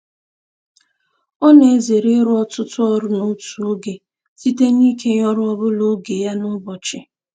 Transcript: Ọ na-ezere ịrụ ọtụtụ ọrụ n'otu oge site n'ikenye ọrụ ọbụla oge ya n'ụbọchị.